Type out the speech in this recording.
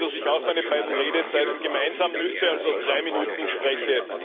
Gestatten Sie, dass ich auch meine beiden Redezeiten gemeinsam nütze, also drei Minuten spreche.